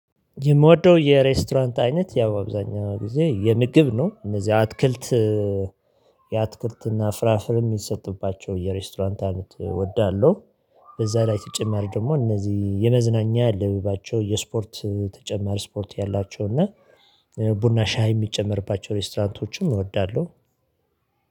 የምወደው የሬስቶራንት አይነት ያው አብዛኛው ጊዜ የምግብ ነው እነዚህ አትክልት የአትክልትና ፍራፍሬ የሚሰጥባቸው የሬስቶራንት አይነት እወዳለሁ። በዛ ላይ ተጨማሪ ደግሞ እነዚህ የመዝናኛ ያለባቸው የስፖርት ተጨማሪ ስፖርት ያላቸው እና ቡና ሻይ የሚጨመርባቸው ሬስቶራንቶችን እወዳለሁ።